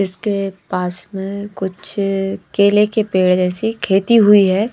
इसके पास में कुछ केले के पेड़ जैसी खेती हुई है।